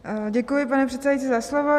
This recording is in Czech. Děkuji, pane předsedající, za slovo.